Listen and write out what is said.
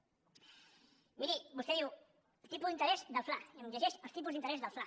miri vostè diu el tipus d’interès del fla i em llegeix els tipus d’interès del fla